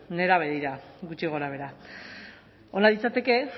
nerabe dira gutxi gorabehera ona litzateke